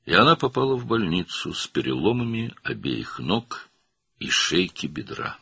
Və o, hər iki ayağının və bud sümüyünün boynunun sınıqları ilə xəstəxanaya düşdü.